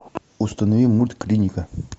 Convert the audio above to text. установи мульт клиника